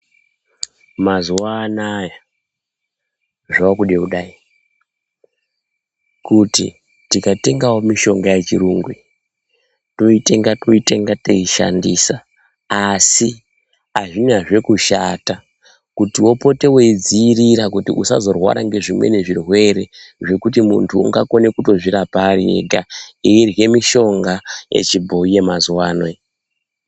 Mazuwa anaya zvakude kudai kuti tikatengawo mishonga yechirungu iyi toitenga toitenga teishandisa asi azvinazve kushata kuti upote weidziiira kuti usazorwara ngezvimweni zvirwere zvekuti muntu ungakone kutozvirapa ari ega eirye mishonga yechibhoyi yemazuwano iyi.